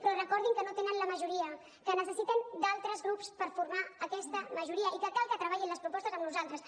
però recordin que no tenen la majoria que necessiten d’altres grups per formar aquesta majoria i que cal que treballin les propostes amb nosaltres